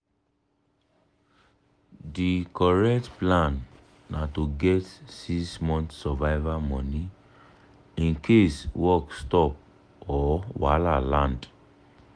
di correct plan na to get six months survival money in case work stop or wahala land.